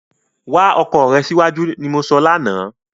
Wá ọkọ rè síwájú ni mo sọ lánàá